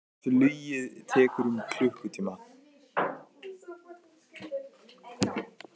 Flugið tekur um klukkutíma.